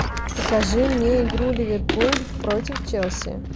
покажи мне игру ливерпуль против челси